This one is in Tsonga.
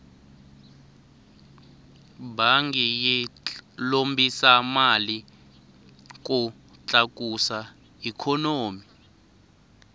bangi yi lombisa mali ku tlakusa ikhonomi